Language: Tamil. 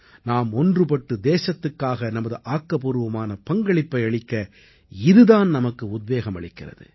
நாம் ஒன்றுபட்டு தேசத்துக்காக நமது ஆக்கப்பூர்வமான பங்களிப்பை அளிக்க இதுதான் நமக்கு உத்வேகம் அளிக்கிறது